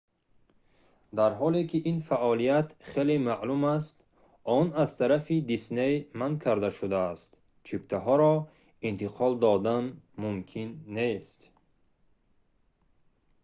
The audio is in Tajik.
дар ҳоле ки ин фаъолият хеле маъмул аст он аз тарафи дисней манъ карда шудааст чиптаҳоро интиқол додан мумкин нест